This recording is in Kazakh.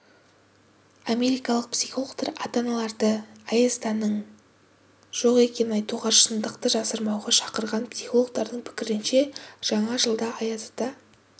америкалық психологтар ата-аналарды аяз-атаның жоқ екенін айтуға шыңдықты жасырмауға шақырған психологтардың пікірінше жаңа жылда аяз ата